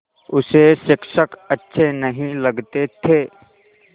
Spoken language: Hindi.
उसे शिक्षक अच्छे नहीं लगते थे